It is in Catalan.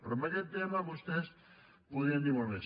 però en aquest tema vostès podien dir molt més